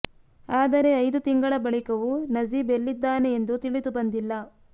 ಆದರೆ ಐದು ತಿಂಗಳ ಬಳಿಕವೂ ನಜೀಬ್ ಎಲ್ಲಿದ್ದಾನೆ ಎಂದು ತಿಳಿದು ಬಂದಿಲ್ಲ